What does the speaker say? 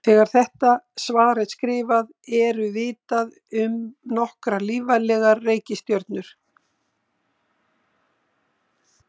Þegar þetta svar er skrifað eru vitað um nokkrar lífvænlegar reikistjörnur.